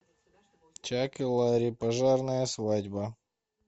чак и ларри пожарная свадьба